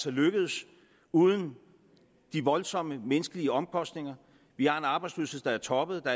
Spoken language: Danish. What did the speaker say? er lykkedes uden de voldsomme menneskelige omkostninger vi har en arbejdsløshed der er toppet og